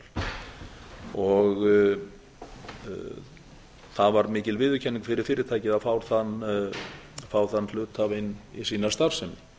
carbon recycling international það var mikil viðurkenning fyrir fyrirtækið að fá þann hluthafa inn í sína starfsemi